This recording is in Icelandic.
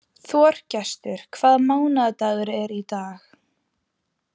Þorgestur, hvaða mánaðardagur er í dag?